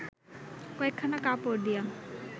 কয়েকখানা কাপড় দিয়া